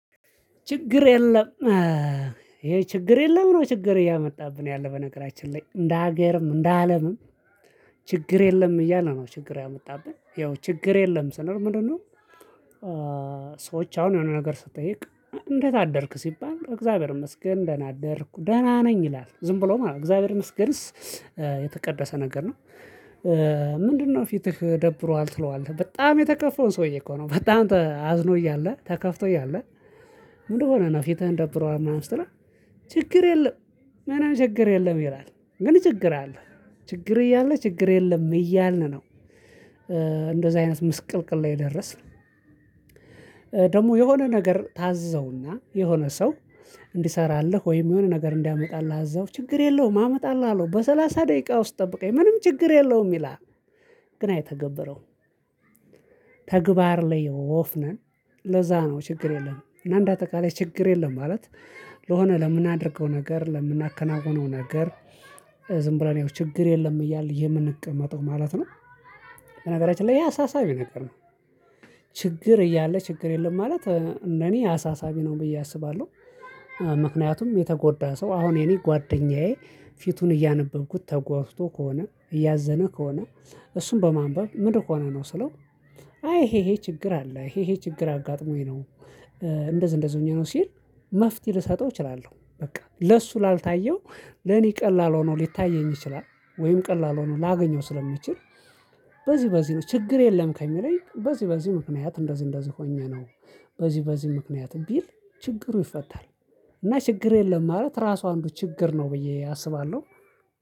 ችግር የለም። ይሄ ችግር የለም ነው ችግር እያመጣብን ያለው በነገራችን ላይ እንደ ሀገርም እንደ አለምም ችግር የለም እያል ነው ችግር ያመጣብን ይኸው ችግር የለም ስንል ምንድነው? ሰዎች አሁን የሆነ ነገር ስትጠይቅ እንዴት አደርክ ሲባል እግዚአብሔር ይመስገን ደህና አደርኩ ደህና ነኝ ይላል ዝም ብሎም አዎ እግዚአብሔር መስገንስ የተቀደሰ ነገር ነው። ምንድነው ፊትህ ደብሮሀል ትለዋለህ በጣም የተከፋውን ሰውዬ እኮ ነው በጣም አዝኖ እያለ ተከፍቶ እያለ ምንድነው? ፊታህን ደብሮሀል ምናምን ስትለው ችግር የለም ምናምን ችግር የለም ይላል። ግን ችግር አለ። ችግር እያለ ችግር የለም እያልን ነው። እንደዚህ አይነት ምስቅልቅል ላይ የደረስን። የሆነ ነገር ታዘውና የሆነ ሰው እንዲሰራለህ ወይም የሆነ ነገር እንዲያመጣልህ እዛው ችግር የለውም አመጣላሀለው በሰላሳ ደቂቃ ውስጥ ጠብቀኝ ምንም ችግር የለውም ይላል። ግን አይተገበረውም። ተግባር ላይ ወፍነን። ለዛ ነው ችግር የለም እና እንደ አጠቃላይ ችግር የለም ማለት። ለሆነ ለምናደርገው ነገር ለምናከናውነው ነገር ዝም ብለን ያው ችግር የለም እያለ የምንቀመጠው ማለት ነው። በነገራችን ላይ ያ አሳሳቢ ነገር ነው። ችግር እያለ ችግር የለም ማለት እንደኔ አሳሳቢ ነው ብዬ አስባለሁ። ምክንያቱም የተጎዳ ሰው አሁን የኔ ጓደኛዬ ፊቱን እያነበብኩት ተጓድቶ ከሆነ እያዘነ ከሆነ እሱን በማንበብ ምድን ሆነህ ነው ስለው? አይ ይሄ ይሄ ችግር አለ ይሄ ይሄ ችግር አጋጥሞኝ ነው። እንደዝ እንደዝ ሆኜ ነው ሲል መፍትሄ ልሰጠው እችላለሁ በቃ ለሱ ላልታየው ለኔ ቀላል ሆኖ ሊታየኝ ይችላል። ወይም ቀላል ሆኖ ላገኘው ስለምችል። በዚህ በዚህ ነው ችግር የለም ከሚለኝ በዚህ በዚህ ምክንያት እንደዚህ እንደዚህ ሆኜ ነው። በዚህ በዚህ ምክንያት ቢል ችግሩ ይፈታል። እና ችግር የለም ማለት ራሱ አንዱ ችግር ነው ብዬ አስባለሁ